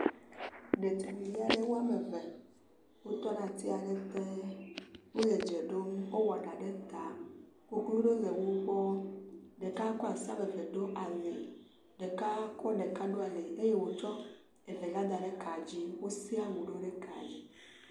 Ɖevia ɖe woame ve wotɔ ɖe ati aɖe ƒe ɖaa. Wole dze ɖom. Wowɔ ɖa ɖe ta. Koklo ɖewo le wo gbɔ. Ɖeka kɔ asi wɔme ve ɖo ali. Ɖeka kɔ ɖeka ɖo ali eye wotsɔ evelia da ɖe ka dzi. Wosia nuɖewo ɖe ka dzi.